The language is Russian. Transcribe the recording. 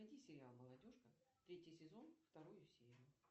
найди сериал молодежка третий сезон вторую серию